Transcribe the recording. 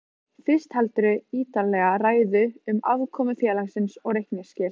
Fyrst heldurðu ítarlega ræðu um afkomu félagsins og reikningsskil.